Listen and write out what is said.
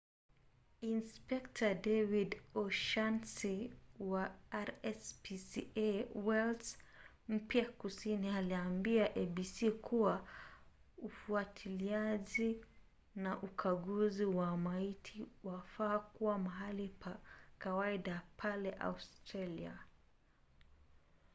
inspekta david o’shannesy wa rspca wales mpya kusini aliambia abc kuwa ufuatiliaji na ukaguzi wa maiti wafaa kuwa mahali pa kawaida pale australia